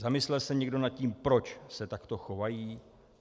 Zamyslel se někdo nad tím, proč se takto chovají?